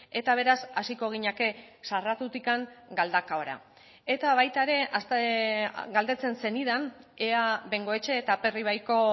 eta beraz hasiko ginateke sarratutik galdakaora eta baita ere galdetzen zenidan ea bengoetxe eta aperribaiko